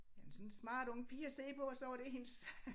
Jamen sådan smart ung pige at se på og så var det hendes